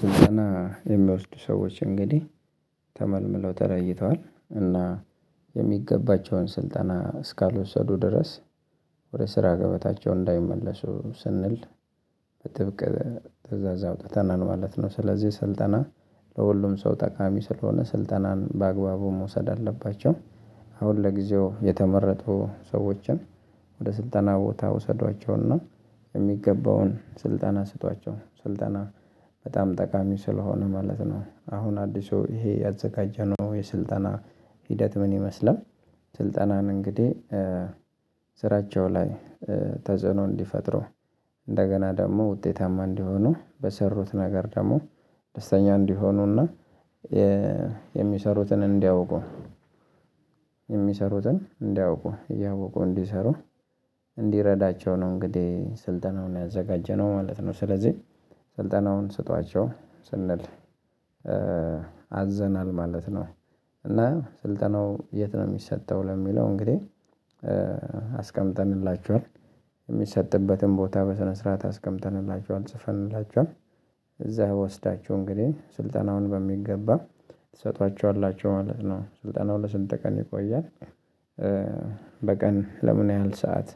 ስልጠና የሚወስዱ ሰዎች እንግዲህ ተመልምለው ተለይተዋል እና የሚገባቸውን ስልጠና እስካልወሰዱ ድረስ ወደ ስራ ገበታቸው እንዳይመለሱ ስንል በጥብቅ ትእዛዝ አውጥተናል ማለት ነው። ስለዚህ ስልጠና ለሁሉም ሰው ጠቃሚ ስለሆነ ስልጠናን በአግባቡ መውሰድ አለባቸው። አሁን ለጊዜው የተመረጡ ሰዎችን ወደ ስልጠና ቦታ ውሰዷቸውና የሚገባውን ስልጠና ስጧቸው ስልጠና በጣም ጠቃሚ ስለሆነ ማለት ነው። አሁን አዲሱ ይሄ ያዘጋጀነው የስልጠና ሂደት ምን ይመስላል? ስልጠናን እንግዲህ ስራቸው ላይ ተጽዕኖ እንዲፈጥሩ እንደገና ደግሞ ውጤታማ እንዲሆኑ በሰሩት ነገር ደግሞ ደስተኛ እንዲሆኑና የሚሰሩትን እንዲያውቁ የሚሰሩትን እንዲያውቁ እያወቁ እንዲሰሩ እንዲረዳቸው ነው። እንግዲህ ስልጠናውን ያዘጋጀነው ማለት ነው። ስለዚህ ስልጠናውን ስጧቸው ስንል አዘናል ማለት ነው። እና ስልጠናው የት ነው የሚሰጠው ለሚለው እንግዲህ አስቀምጠንላችኋል የሚሰጥበትን ቦታ በስነስርዓት አስቀምጠንላችኋል ጽፈንላችኋል እዛ ወስዳችሁ እንግዲህ ስልጠናውን በሚገባ ትሰጧቸዋላችሁ ማለት ነው። ስልጠናው ለስንት ቀን ይቆያል? በቀን ለምን ያህል ሰዓት?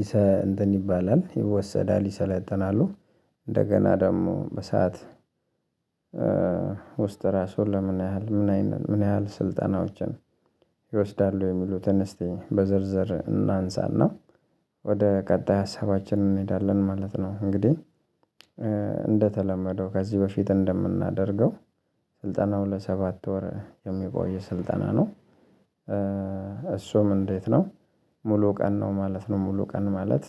ይሰ እንትን ይባላል ይወሰዳል ይሰለጠናሉ ደግሞ በሰአት ውስጥ ራሱ ለምን ያህል ምን ምን ያህል ስልጠናዎችን ይወስዳሉ የሚሉትን እስቲ በዝርዝር እናንሳና ወደ ቀጣይ ሀሳባችን እንሄዳለን ማለት ነው። እንግዲህ እንደተለመደው ከዚህ በፊት እንደምናደርገው ስልጠናው ለሰባት ወር የሚቆየ ስልጠና ነው። እሱም እንዴት ነው? ሙሉ ቀን ነው ማለት ነው ሙሉ ቀን ማለት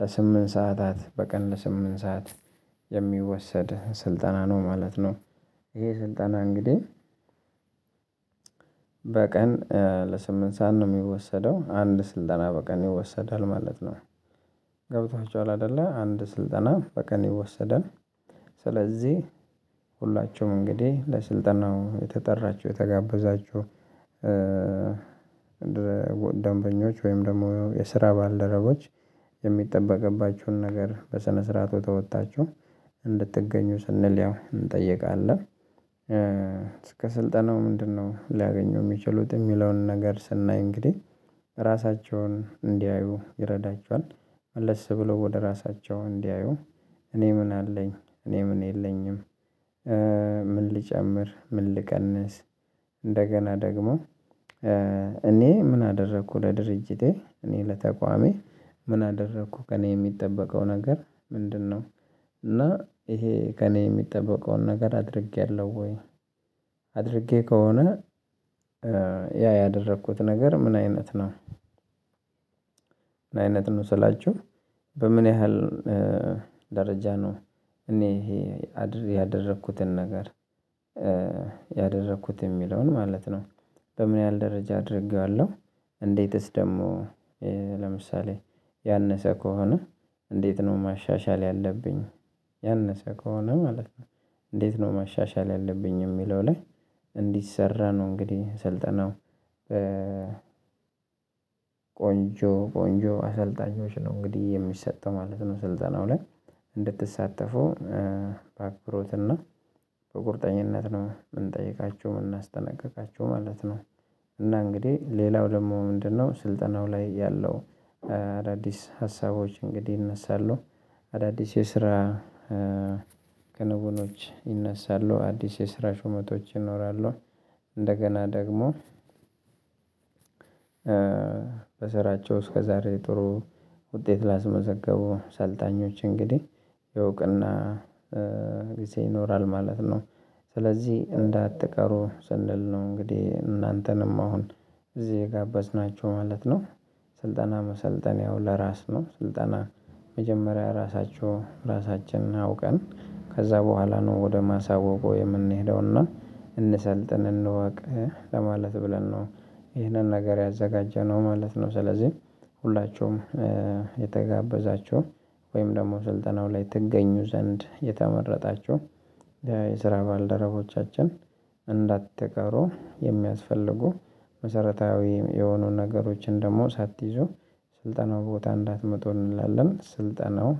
ለስምንት ሰዓታት በቀን ለስምንት ሰዓት የሚወሰድ ስልጠና ነው ማለት ነው። ይሄ ስልጠና እንግዲህ በቀን ለስምንት ሰዓት ነው የሚወሰደው አንድ ስልጠና በቀን ይወሰዳል ማለት ነው። ገብቷችኋል አይደለ? አንድ ስልጠና በቀን ይወሰዳል። ስለዚህ ሁላችሁም እንግዲህ ለስልጠናው የተጠራቹ የተጋበዛቹ ደንበኞች ወይም ደግሞ የስራ ባልደረቦች የሚጠበቅባችሁን ነገር በስነስርዓቱ ተወጥታችሁ እንድትገኙ ስንል ያው እንጠይቃለን። እስከ ስልጠነው ምንድነው ሊያገኙ የሚችሉት የሚለውን ነገር ስናይ እንግዲህ ራሳቸውን እንዲያዩ ይረዳቸዋል። መለስ ብሎ ወደ ራሳቸው እንዲያዩ እኔ ምን አለኝ እኔ ምን የለኝም። ልጨምር ምን ልቀንስ። እንደገና ደግሞ እኔ ምን አደረኩ ለድርጅቴ እኔ ለተቋሜ ምን አደረኩ ከእኔ የሚጠበቀው ነገር ምንድነው? እና ይሄ ከእኔ የሚጠበቀውን ነገር አድርጌያለሁ ወይ? አድርጌ ከሆነ ያ ያደረኩት ነገር ምን አይነት ነው ምን አይነት ነው ስላችሁ? በምን ያህል ደረጃ ነው እኔ ይሄ ያደረኩትን ነገር ያደረኩት የሚለውን ማለት ነው በምን ያህል ደረጃ አድርጌዋለሁ። እንዴትስ ደግሞ ለምሳሌ ያነሰ ከሆነ እንዴት ነው ማሻሻል ያለብኝ። ያነሰ ከሆነ ማለት ነው። እንዴት ነው ማሻሻል ያለብኝ የሚለው ላይ እንዲሰራ ነው እንግዲህ ሰልጠናው በ ቆንጆ ቆንጆ አሰልጣኞች ነው እንግዲህ የሚሰጠው ማለት ነው። ስልጠናው ላይ እንድትሳተፉ በአክሮት እና በቁርጠኝነት ነው የምንጠይቃቸው የምናስጠነቅቃቸው ማለት ነው። እና እንግዲህ ሌላው ደግሞ ምንድነው? ስልጠናው ላይ ያለው አዳዲስ ሀሳቦች እንግዲህ ይነሳሉ። አዳዲስ የስራ ክንውኖች ይነሳሉ አዲስ የስራ ሹመቶች ይኖራሉ። እንደገና ደግሞ በስራቸው እስከዛሬ ጥሩ ውጤት ላስመዘገቡ ሰልጣኞች እንግዲህ የእውቅና ጊዜ ይኖራል ማለት ነው። ስለዚህ እንዳትቀሩ ስንል ነው። እንግዲህ እናንተንም አሁን እዚህ የጋበዝናቹ ማለት ነው። ስልጠና መሰልጠን ያው ለራስ ነው ስልጠና መጀመሪያ ራሳቹ ራሳችንን አውቀን ከዛ በኋላ ነው ወደ ማሳወቁ የምንሄደውና እንሰልጥን እንወቅ ለማለት ብለን ነው ይህንን ነገር ያዘጋጀነው ማለት ነው። ስለዚህ ሁላችሁም የተጋበዛችሁ ወይም ደግሞ ስልጠናው ላይ ትገኙ ዘንድ የተመረጣችሁ የስራ ባልደረቦቻችን እንዳትቀሩ የሚያስፈልጉ መሰረታዊ የሆኑ ነገሮችን ደግሞ ሳትይዙ ስልጠናው ቦታ እንዳትመጡ እንላለን። ስልጠናው